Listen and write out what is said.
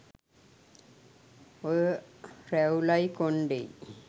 ඔය රැවුලයි කොන්ඩෙයි